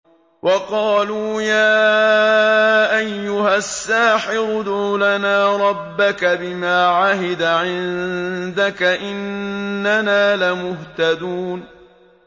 وَقَالُوا يَا أَيُّهَ السَّاحِرُ ادْعُ لَنَا رَبَّكَ بِمَا عَهِدَ عِندَكَ إِنَّنَا لَمُهْتَدُونَ